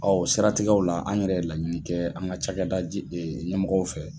siratigɛw la, an yɛrɛ ye laɲini kɛ an ka cada je ɲɛmɔgɔw fɛ.